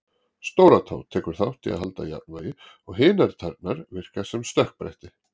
Stóratá tekur þátt í að halda jafnvægi og hinar tærnar virka sem stökkbretti.